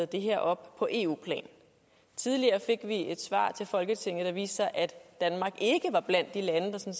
det her op på eu plan tidligere fik vi et svar til folketinget der viste at danmark ikke var blandt de lande der